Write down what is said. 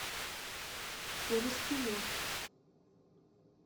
корыстылев